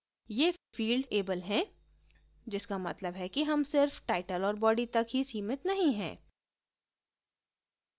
यें field able हैं जिसका मतलब है कि हम सिर्फ title और body तक ही सीमित नहीं है